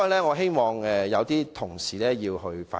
我希望有關同事會反省。